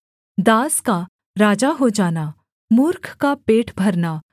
दास का राजा हो जाना मूर्ख का पेट भरना